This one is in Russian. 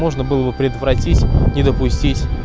можно было бы предотвратить не допустить